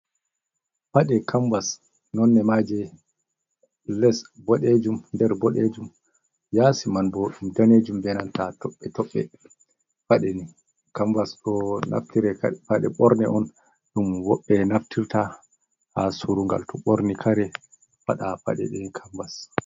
Paɗe kamvas nonde maaje les boɗejum, nder boɗejum, yaasi man bo ɗum danejum be nanta toɓɓe-toɓɓe. Paɗe ni kamvas ɗo naftire paɗe ɓorne on ɗum woɓɓe naftirta haa surugal to ɓorni kare paɗa paɗe ɗe kambas.